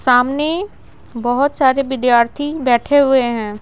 सामने बहुत सारे विद्यार्थी बैठे हुए हैं।